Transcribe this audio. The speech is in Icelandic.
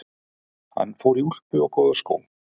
Hann fór í úlpu og góða skó.